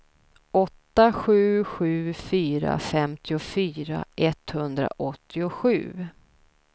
åtta sju sju fyra femtiofyra etthundraåttiosju